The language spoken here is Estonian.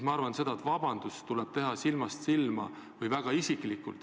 Ma arvan, et vabandus tuleb esitada silmast silma või väga isiklikult.